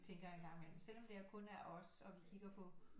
Tænker jeg en gang imellem selvom det er kun er af os og vi kigger på